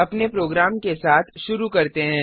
अपने प्रोग्राम के साथ शुरू करते हैं